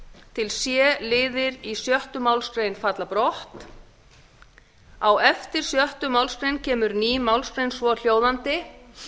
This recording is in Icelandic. til c liðir sjöttu málsgrein falla brott g á eftir sjöttu málsgrein kemur ný málsgrein svohljóðandi